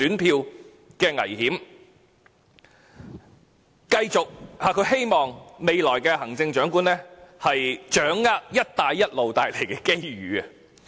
再者，她希望未來的行政長官"掌握'一帶一路'帶來的機遇"。